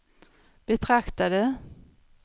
betraktade